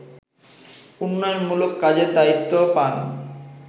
উন্নয়নমূলক কাজের দায়িত্ব পান